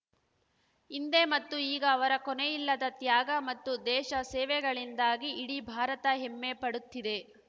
ಹಿಂದೆ ಮತ್ತು ಈಗ ಅವರ ಕೊನೆಯಿಲ್ಲದ ತ್ಯಾಗ ಮತ್ತು ದೇಶ ಸೇವೆಗಳಿಂದಾಗಿ ಇಡೀ ಭಾರತ ಹೆಮ್ಮೆಪಡುತ್ತಿದೆ